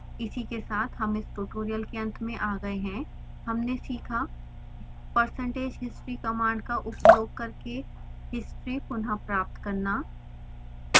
इसी के साथ हम इस ट्यूटोरियल के अंत में आ गए है हमने सीखा –